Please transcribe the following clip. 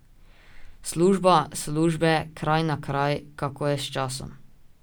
Služba, službe, kraj na kraj, kako je s časom?